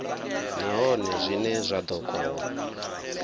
nahone zwine zwa ḓo kona